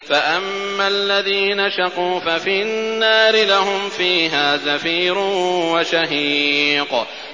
فَأَمَّا الَّذِينَ شَقُوا فَفِي النَّارِ لَهُمْ فِيهَا زَفِيرٌ وَشَهِيقٌ